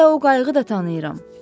Hətta o qayığı da tanıyıram.